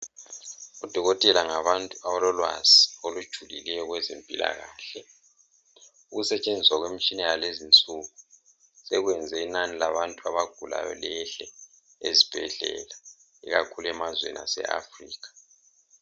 Odokotela ngabantu abalolwazi olujulileyo .Ukusetshenziswa kwemitshina yakulezi insuku sekwenze inani labantu abagulayo lehle ezibhedlela ikakhulu emazweni aseAfrica